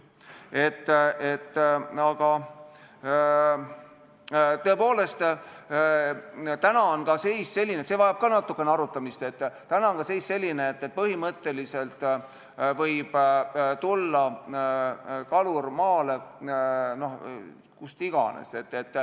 Tõepoolest, see vajab ka natukene arutamist, et täna on seis selline, et põhimõtteliselt võib kalur tulla maale kus iganes.